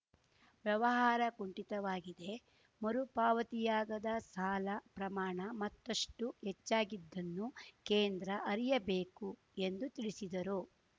ವ್ಯವಹಾರ ಕುಂಠಿತವಾಗಿದೆ ಮರು ಪಾವತಿಯಾಗದ ಸಾಲ ಪ್ರಮಾಣ ಮತ್ತಷ್ಟುಹೆಚ್ಚಾಗಿದ್ದನ್ನು ಕೇಂದ್ರ ಅರಿಯಬೇಕು ಎಂದು ತಿಳಿಸಿದರು